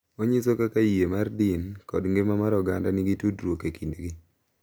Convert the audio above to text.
Onyiso kaka yie mar din kod ngima mar oganda nigi tudruok e kindgi.